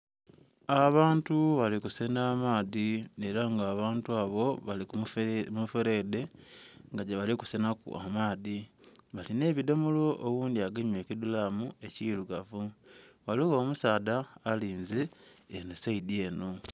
Abantu balikusena amaadhi era nga abantu abo balikumuferede nga gyebali kusenaku amaadhi bali n'ebidhomolo oghundhi agemye ekidhulamu ekirugavu. Ghaligho omusaadha alinze eno saidi eno.